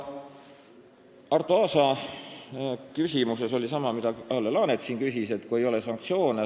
Arto Aasa küsimusel oli sama sisu, nagu ka Kalle Laanet nüüd siin küsis.